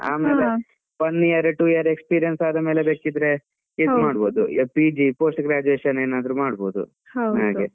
One year, two year experience ಆದ ಮೇಲೆ ಬೇಕಿದ್ರೆ ಮಾಡ್ಬಹುದು, PG post graduation ಏನಾದ್ರು ಮಾಡಬಹುದು ಹಾಗೆ.